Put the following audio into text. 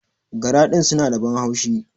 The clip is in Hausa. Gara din suna da ban haushi.